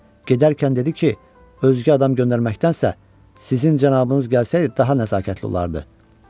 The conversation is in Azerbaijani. Gedərkən dedi ki, özgə adam göndərməkdənsə, sizin cənabınız gəlsəydi daha nəzakətli olardı.